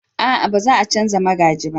a'a ba za a canja magaji ba